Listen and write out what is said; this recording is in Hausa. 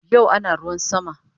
Yau ana ruwan sama